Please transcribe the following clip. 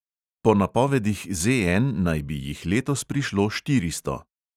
Po napovedih ZN naj bi jih letos prišlo štiristo.